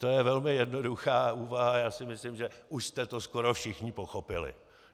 To je velmi jednoduchá úvaha a já si myslím, že už jste to skoro všichni pochopili.